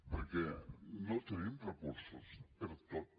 perquè no tenim recursos per a tot